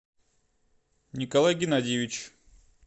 николай геннадьевич